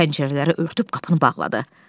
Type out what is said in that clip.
Pəncərələri örtüb qapını bağladı.